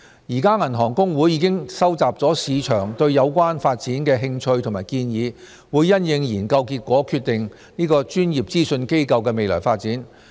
現時銀行公會已收集市場對有關發展的興趣和建議，會因應研究結果決定"專業資訊機構"的未來發展。